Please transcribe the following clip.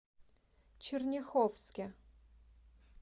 черняховске